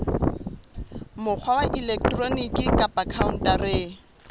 mokgwa wa elektroniki kapa khaontareng